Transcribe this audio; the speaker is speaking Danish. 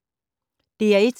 DR1